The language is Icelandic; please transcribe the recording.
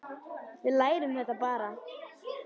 Við lærum þetta bara.